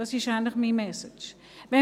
Dies ist eigentlich meine Message.